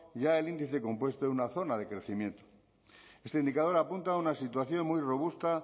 ya el índice compuesto en una zona de crecimiento este indicador apunta a una situación muy robusta